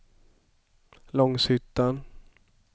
Långshyttan